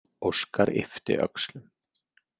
Óskar yppti öxlum.